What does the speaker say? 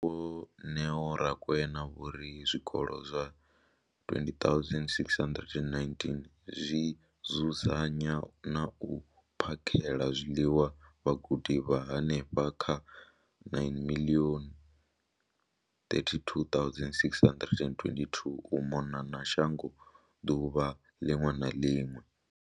Muhasho, Vho Neo Rakwena, vho ri zwikolo zwa 20 619 zwi dzudzanya na u phakhela zwiḽiwa vhagudiswa vha henefha kha 9 032 622 u mona na shango ḓuvha ḽiṅwe na ḽiṅwe.